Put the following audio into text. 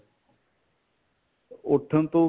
ਉਠਣ ਤੋਂ